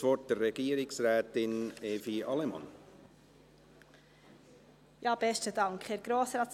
Ich gebe Regierungsrätin Evi Allemann das Wort.